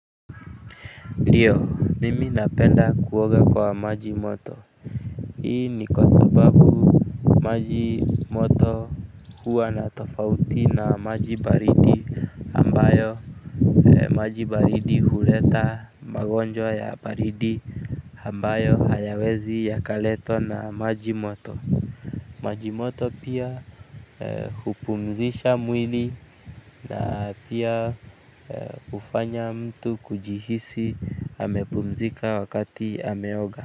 Ndio, mimi napenda kuoga kwa maji moto. Hii ni kwa sababu maji moto huwa na tofauti na maji baridi ambayo, maji baridi huleta magonjwa ya baridi ambayo hayawezi yakaletwa na maji moto. Maji moto pia hupumzisha mwili na pia hufanya mtu kujihisi amepumzika wakati ameoga.